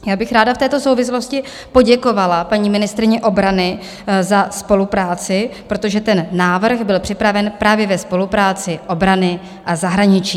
Já bych ráda v této souvislosti poděkovala paní ministryni obrany za spolupráci, protože ten návrh byl připraven právě ve spolupráci obrany a zahraničí.